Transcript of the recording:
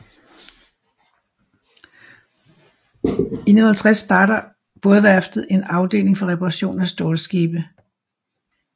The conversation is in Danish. I 1950 starter bådeværftet og en afdeling for reparation af stålskibe